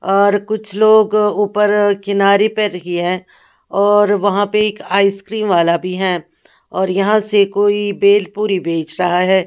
और कुछ लोग ऊपर किनारे पर रखी है और वहां पर एक आइसक्रीम वाला भी है और यहां से कोई बेल पूरी बेच रहा है।